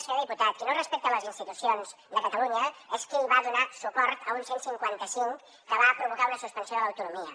senyor diputat qui no respecta les institucions de catalunya és qui va donar suport a un cent i cinquanta cinc que va provocar una suspensió de l’autonomia